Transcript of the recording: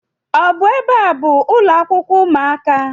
Ọ bụ ebe a bụ ụlọakwụkwọ ụmụaka?